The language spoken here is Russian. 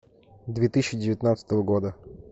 две тысячи девятнадцатого года